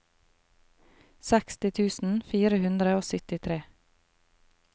seksti tusen fire hundre og syttitre